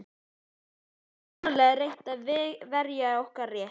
Ég hef svo sannarlega reynt að verja okkar rétt.